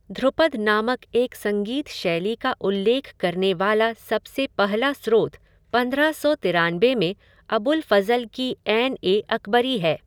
ध्रुपद नामक एक संगीत शैली का उल्लेख करने वाला सबसे पहला स्रोत पंद्रह सौ तिरानबे में अबुल फ़ज़ल की आइन ए अकबरी है।